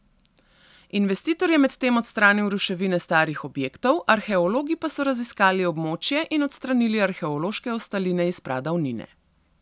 Investitor je medtem odstranil ruševine starih objektov, arheologi pa so raziskali območje in odstranili arheološke ostaline iz pradavnine.